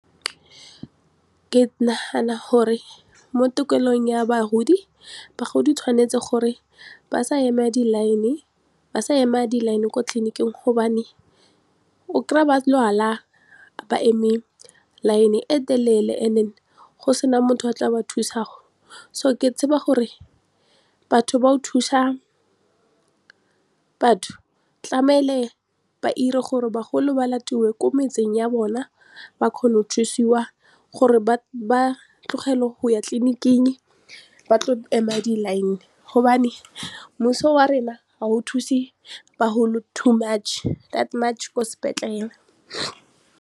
Ke nagana gore mo tikologong ya bagodi, bagodi tshwanetse gore ba sa ema di-line ba sa ema di-line ko tleliniking gobane o kry-a ba lwala ba eme line e telele and then go sena motho a tla ba thusa so ke tseba gore batho ba o thusa batho tlamele ba 'ire gore bagolo ba latiwe ko metseng ya bona ba kgone go thusiwa gore ba tlogele go ya tleniking ba tlo ema di-line gobane mmuso wa rona wa go thuse bagolo too much ko sepetlele..